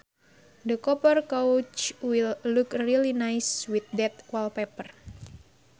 The copper couch will look really nice with that wallpaper